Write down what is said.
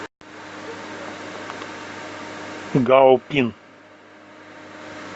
гаопин